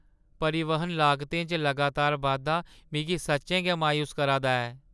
परिवहन लागतें च लगातार बाद्धा मिगी सच्चें गै मायूस करा दा ऐ।